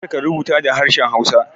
Kar ka rubuta da harshen hausa